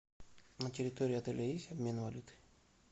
на территории отеля есть обмен валюты